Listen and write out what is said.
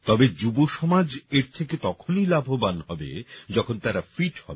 তবে যুবসমাজ এর থেকে তখনই লাভবান হবে যখন তারা ফিট হবে